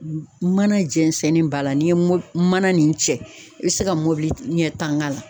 Mana jɛnsɛnni b'a la n'i ye m mana nin cɛ i bɛ se ka mɔbili ɲɛ tan k'a la